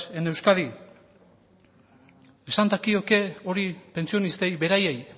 en euskadi esan dakioke hori pentsionistei beraiei